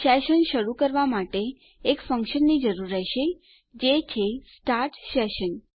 session શરૂ કરવા માટે એક ફંક્શનની જરૂર રહેશે જે છે સ્ટાર્ટ સેશન